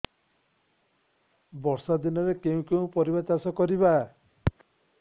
ବର୍ଷା ଦିନରେ କେଉଁ କେଉଁ ପରିବା ଚାଷ କରିବା